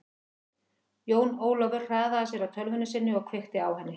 Jón Ólafur hraðaði sér að tölvunni sinni og kveikti á henni.